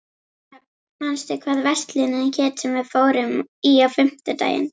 Dröfn, manstu hvað verslunin hét sem við fórum í á fimmtudaginn?